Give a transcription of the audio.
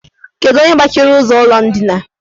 Kedu onye gbachiri ụzọ ụlọ ndina?